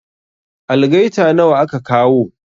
Algaita nawa aka kawo?